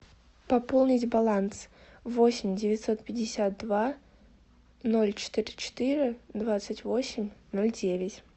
пополнить баланс восемь девятьсот пятьдесят два ноль четыре четыре двадцать восемь ноль девять